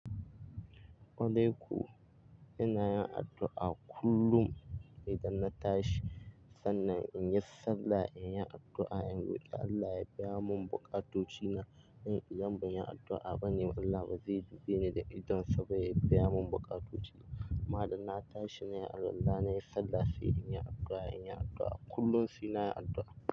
Wale ku ina yin addu'a kullum idan na tashi sannan in yi sallah, in yi addu'a, in roƙi Allah ya biya mun bukatoci na. Idan ban yi addu'a bane, Allah ba zai dube ni da idonsa ba ya biya mun bukatoci na. Ma'adan na tashi na yi addu'a, idan na yi sallah sai in yi addu'a, in yi addu'a kullum sai na yi addu'a.